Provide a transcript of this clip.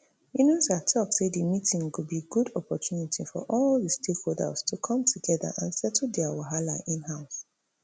yunusa tok say di meeting go be good opportunity for all di stakeholders to come togeda and settle dia wahala inhouse